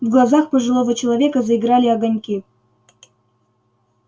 в глазах пожилого человека заиграли огоньки